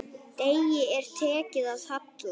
Degi er tekið að halla.